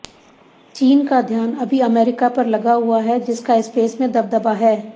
चीन का ध्यान अभी अमेरिका पर लगा हुआ है जिसका स्पेस में दबदबा है